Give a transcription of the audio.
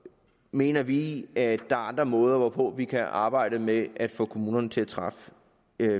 mener vi at der er andre måder hvorpå vi kan arbejde med at få kommunerne til at træffe